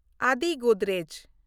Adi Godrej